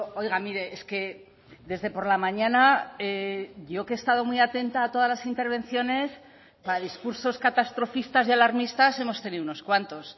oiga mire es que desde por la mañana yo que he estado muy atenta a todas las intervenciones para discursos catastrofistas y alarmistas hemos tenido unos cuantos